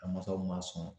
A masaw ma sɔn